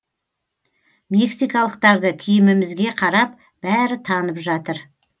мексикалықтарды киімімізге қарап бәрі танып жатыр